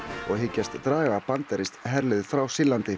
og hyggjast draga bandarískt herlið frá Sýrlandi